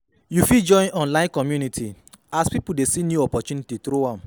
Yu fit join online community as pipo dey see new opportunity through am